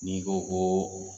Ni ko koo